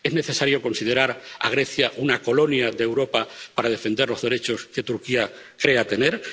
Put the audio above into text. ¿Es necesario considerar a Grecia una colonia de Europa para defender los derechos que Turquía crea tener?